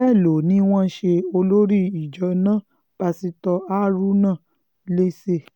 bẹ́ẹ̀ ló ní wọ́n ṣe olórí ìjọ náà pásítọ̀ haruna léṣe